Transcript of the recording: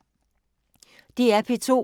DR P2